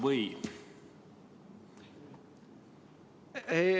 Või?